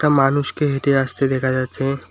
মানুষকে হেঁটে আসতে দেখা যাচ্ছে।